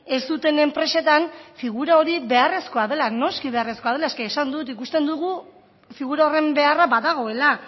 ez duten enpresetan figura hori beharrezkoa dela noski beharrezkoa dela es que esan dut ikusten dugu figura horren beharra badagoela